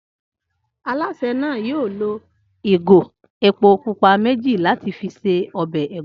Alásè náà yóò lo ìgò epo pupa méjì láti fi se o̩bè ègúsí